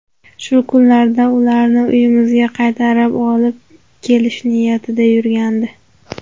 Shu kunlarda ularni uyimizga qaytarib olib kelish niyatida yurgandi.